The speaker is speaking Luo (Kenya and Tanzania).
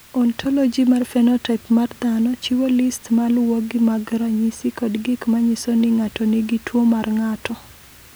"Ontologi mar phenotaip mar dhano chiwo list ma luwogi mag ranyisi kod gik ma nyiso ni ng’ato nigi tuwo mar ng’ato."